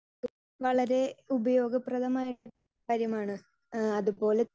Speaker 2 വളരേ ഉപയോഗപ്രദമായ കാര്യമാണ്. ഇഹ് അതുപോലെ